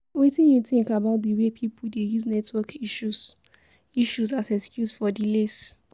Wetin you think about di way people dey use network issues issues as excuse for delays?